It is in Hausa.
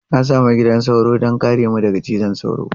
Na sami gidan sauro don kare mu daga cizon sauro.